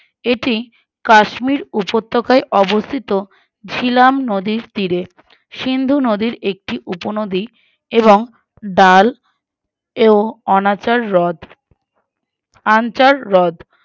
এটি কাশ্মীর উপত্যকায় অবস্থিত ঝিলাম নদীর তীরে সিন্ধু নদীর একটি উপনদী এবং ডাল ও অনাচার হ্রদ আনছার হ্রদ